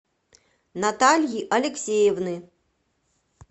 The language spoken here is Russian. натальи алексеевны